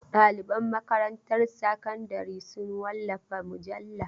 Ɗaliban makarantar sakandare sun wallafa mujalla.